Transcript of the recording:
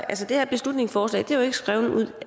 altså det her beslutningsforslag er jo ikke skrevet